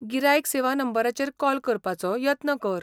गिरायक सेवा नंबराचेर कॉल करपाचो यत्न कर.